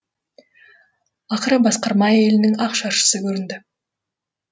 ақыры басқарма әйелінің ақ шаршысы көрінді